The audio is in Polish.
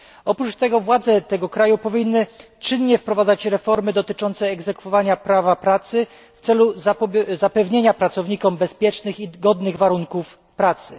Ponadto władze tego kraju powinny czynnie wprowadzać reformy dotyczące egzekwowania prawa pracy w celu zapewnienia pracownikom bezpiecznych i godnych warunków pracy.